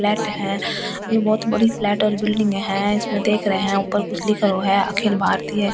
Flat है ये बहुत बड़ी फ्लैट और बिल्डिंग है इसमें देख रहे हैं ऊपर कुछ लिखा हुआ है अखिल भारतीय ।